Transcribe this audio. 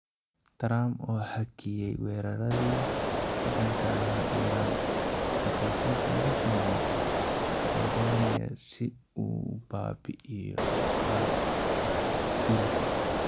Trump oo hakiyay weerarradii ka dhanka ahaa Iran 'daqiiqadii ugu dambeysay' Tanzania si uu u baabi'iyo ciqaabta dilka?